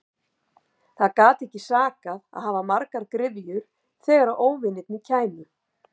Það gat ekki sakað að hafa margar gryfjur þegar óvinirnir kæmu.